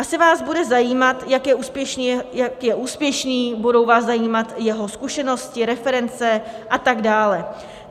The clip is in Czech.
Asi vás bude zajímat, jak je úspěšný, budou vás zajímat jeho zkušenosti, reference a tak dále.